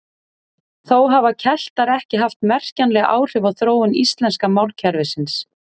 Þó hafa Keltar ekki haft merkjanleg áhrif á þróun íslenska málkerfisins.